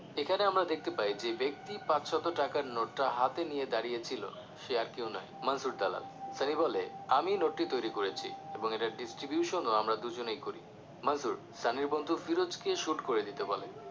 এখানে আমরা দেখতে পাই যে ব্যক্তি পাঁচশত টাকার নোটটা হাতে নিয়ে দাঁড়িয়ে ছিলো সে আর কেউ নয় মানসুর দালাল সানি বলে আমি নোটটি তৈরি করেছি এবং এর distribution ও আমরা দুজনে করি মানসুর সানির বন্ধু ফিরোজকে shoot করে দিতে বলে